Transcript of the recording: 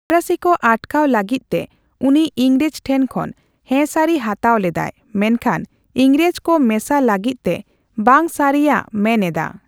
ᱯᱷᱚᱨᱟᱥᱤ ᱠᱚ ᱟᱴᱠᱟᱣ ᱞᱟᱹᱜᱤᱫ ᱛᱮ ᱩᱱᱤ ᱤᱝᱨᱮᱡ ᱴᱷᱮᱱ ᱠᱷᱚᱱ ᱦᱮᱥᱟᱨᱤ ᱦᱟᱛᱟᱣ ᱞᱮᱫᱟᱭ, ᱢᱮᱱᱠᱷᱟᱱ ᱮᱝᱨᱮᱡ ᱠᱚ ᱢᱮᱥᱟ ᱞᱟᱜᱤᱫ ᱛᱮ ᱵᱟᱝ ᱥᱟᱨᱤᱭᱟᱜ ᱢᱮᱱ ᱮᱫᱟ ᱾